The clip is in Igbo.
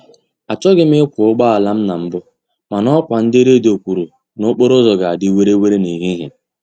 Achọghị m ịkwọ ụgbọala m na mbụ, mana ọkwa ndị redio kwuru na okporo ụzọ ga-adị were were n'ehihie